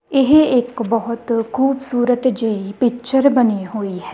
ਇਹ ਇੱਕ ਬਹੁਤ ਖੂਬਸੂਰਤ ਜਿਹੀ ਪਿੱਚਰ ਬਣੀ ਹੋਈ ਹੈ।